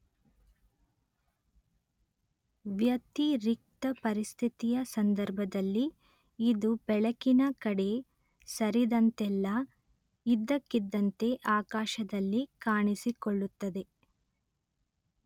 ವ್ಯತಿರಿಕ್ತ ಪರಿಸ್ಥಿತಿಯ ಸಂದರ್ಭದಲ್ಲಿ ಇದು ಬೆಳಕಿನ ಕಡೆ ಸರಿದಂತೆಲ್ಲ ಇದ್ದಕ್ಕಿದ್ದಂತೆ ಆಕಾಶದಲ್ಲಿ ಕಾಣಿಸಿಕೊಳ್ಳುತ್ತದೆ